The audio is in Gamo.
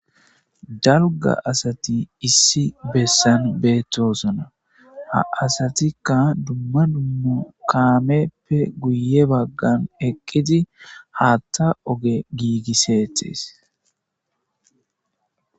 Dalga asati issi besan betosona ha asatika duma duma kameppe guye bagara eqidi hatha oge gigisetes